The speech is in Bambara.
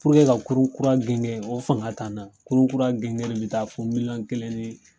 ka kurun kura genge o fanga t'an na, kurun kura gengeli bi taa fo miliyɔn kelen ni